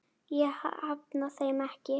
Ég hafna þeim ekki.